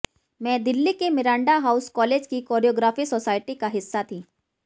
मैं दिल्ली के Miranda House college की कोरियोग्राफी सोसायटी का हिस्सा थी